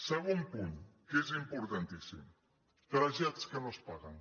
segon punt que és importantíssim trasllats que no es paguen